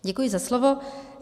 Děkuji za slovo.